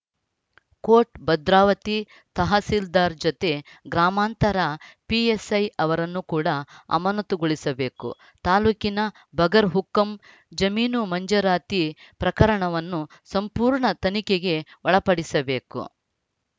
coat Bhadravati tahsildar ಜೊತೆ ಗ್ರಾಮಾಂತರ PSI ಅವರನ್ನು ಕೂಡ ಅಮನತುಗೊಳಿಸಬೇಕು ತಾಲೂಕಿನ ಬಗರ್‌ ಹುಕುಂ ಜಮೀನು ಮಂಜೂರಾತಿ ಪ್ರಕರಣವನ್ನು ಸಂಪೂರ್ಣ ತನಿಖೆಗೆ ಒಳಪಡಿಸಬೇಕು